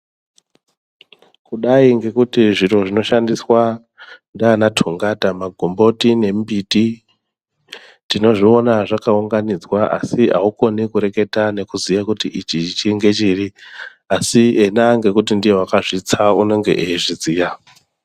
Kudai ngekuti zviro zvinoshandiswa ndiana tongata magomboti nemimbiti tinozviona zvakaunganidzwa asi aukoni kureketa nekuziye kuti ichi ngechiri asi ena nekuti ndiye wakazvitsa unenge eizviziya .